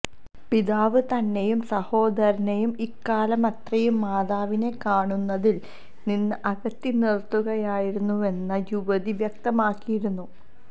പിതാവ് തന്നെയും സഹോദരനെയും ഇക്കാലമത്രയും മാതാവിനെ കാണുന്നതില് നിന്ന് അകറ്റി നിര്ത്തുകയായിരുന്നുവെന്ന് യുവതി വ്യക്തമാക്കിയിരുന്നു